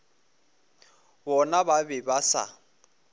bona ba be ba sa